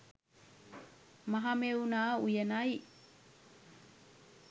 Mahamevna උයනයි.